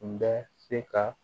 Kun bɛ se ka